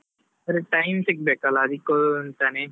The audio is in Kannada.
ಆದ್ರೆ, time ಸಿಗ್ಬೇಕಲ್ಲಾ ಅದಿಕ್ಕೆ ಅಂತಾನೆ.